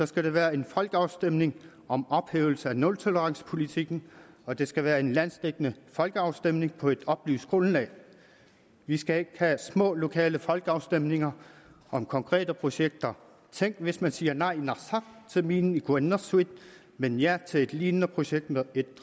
skal det være en folkeafstemning om ophævelse af nultolerancepolitikken og det skal være en landsdækkende folkeafstemning på et oplyst grundlag vi skal ikke have små lokale folkeafstemninger om konkrete projekter tænk hvis man siger nej i narsaq til minen i kuannersuit men ja til et lignende projekt med et